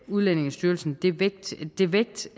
udlændingestyrelsen det vægt det vægt